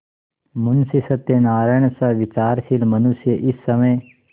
मुंशी सत्यनारायणसा विचारशील मनुष्य इस समय